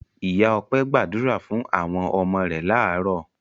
Ìyá Ọpẹ́ gbàdúrà fún àwọn ọmọ rẹ̀ láàárọ̀.